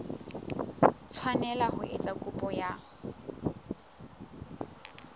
tshwanela ho etsa kopo ya